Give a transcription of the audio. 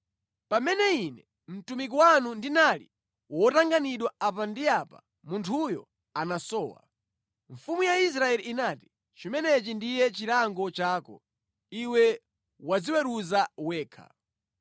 Pamene ine mtumiki wanu ndinali wotanganidwa apa ndi apa, munthuyo anasowa.” Mfumu ya Israeli inati, “Chimenechi ndiye chilango chako. Iwe wadziweruza wekha.”